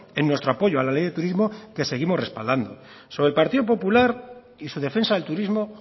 en nuestro apoyo a la ley de turismo que seguimos respaldando sobre el partido popular y su defensa del turismo